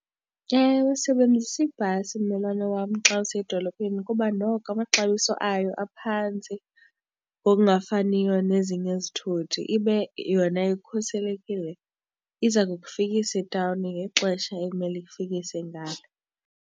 Ewe, sebenzisa ibhasi mmelwane wam xa usiya edolophini kuba noko amaxabiso ayo aphantsi ngokungafaniyo nezinye izithuthi, ibe yona ikhuselekile. Iza kufikisa etawuni ngexesha ekumele ikufikise ngalo.